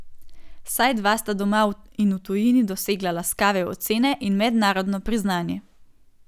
Vsaj dva sta doma in v tujini dosegla laskave ocene in mednarodno priznanje.